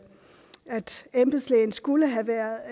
embedslægen skulle have været